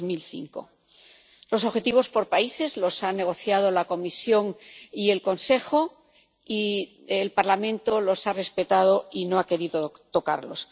2005. Los objetivos por países los han negociado la Comisión y el Consejo, y el Parlamento los ha respetado y no ha querido tocarlos.